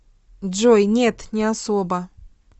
джой нет не особо